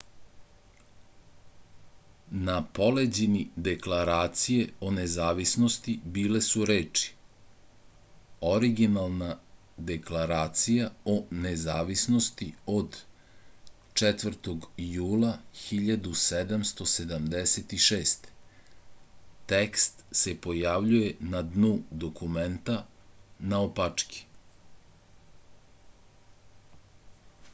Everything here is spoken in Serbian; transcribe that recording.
na poleđini deklaracije o nezavisnosti bile su reči originalna deklaracija o nezavisnosti od 4. jula 1776 tekst se pojavljuje na dnu dokumenta naopačke